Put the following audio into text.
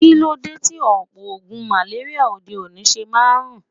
Kilode ti opo ogun maleria ode-oni se maa n run?